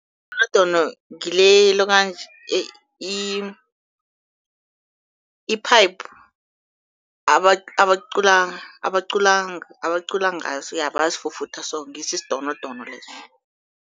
Ngile ilokanji i-pipe, abacula abacula abacula ngaso ja, bayasifufutha so, ngiso isidonodono leso.